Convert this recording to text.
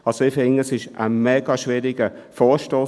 – Ich finde, es ist ein sehr schwieriger Vorstoss.